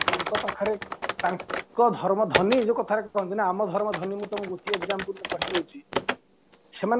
ତାଙ୍କ ପାଖରେ ତାଙ୍କ ଧର୍ମ ଧନୀ ଯୋଉ କଥାରେ କହନ୍ତିନା ଆମ ଧର୍ମ ଧନୀ ମୁଁ ତମକୁ ଗୋଟିଏ exampleରେ କହିଦଉଛି ସେମାନେ